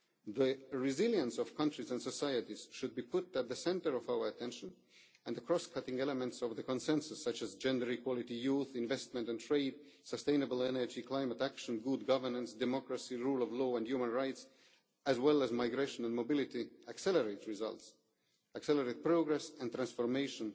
The resilience of countries and societies should be put at the centre of our attention and the cross cutting elements of the consensus such as gender equality, youth, investment and trade, sustainable energy, climate action, good governance, democracy, rule of law and human rights, as well as migration and mobility accelerate results, progress and transformation